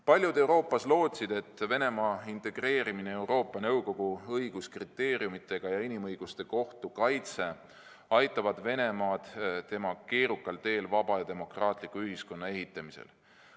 Paljud Euroopas lootsid, et Venemaa integreerimine Euroopa Nõukogu õiguskriteeriumidega ja inimõiguste kohtu kaitse aitavad Venemaad tema keerukal teel vaba ja demokraatliku ühiskonna ehitamisel.